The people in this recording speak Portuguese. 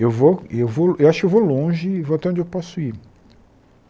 Eu vou eu vou e acho que eu vou longe, vou até onde eu posso ir.